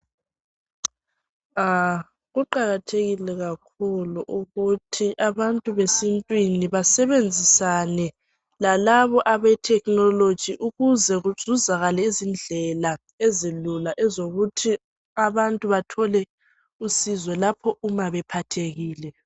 Kuqakathekile kakhulu ukuthi abantu besintwini basebenzisane lalabo abe thekhinoloji ukuze kuzuzakale izindlela ezilula ezokuthi abantu bathole usizo lapho uma bephathekile.